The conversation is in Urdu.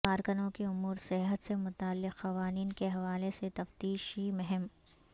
کارکنوں کے امور صحت سے متعلق قوانین کے حوالے سے تفتیشی مہم